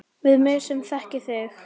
Við mig sem þekki þig.